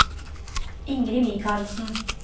Ingrid Mikalsen